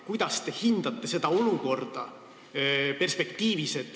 Kuidas te hindate seda olukorda perspektiivis?